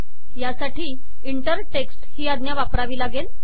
या साठी inter text ही आज्ञा वापरावी लागेल